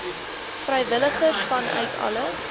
vrywilligers vanuit alle